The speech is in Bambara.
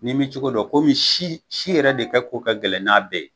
N'i m'i cogo dɔn komi si si yɛrɛ de ka k'o ka gɛlɛn n'a bɛɛ ye,